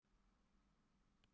Hann stefnir á að halda því sæti.